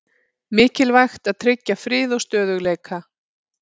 Mikilvægt að tryggja frið og stöðugleika